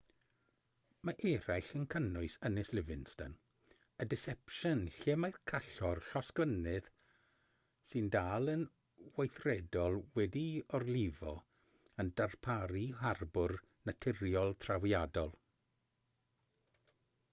mae eraill yn cynnwys ynys livingston a deception lle mae callor llosgfynydd sy'n dal yn weithredol wedi'i orlifo yn darparu harbwr naturiol trawiadol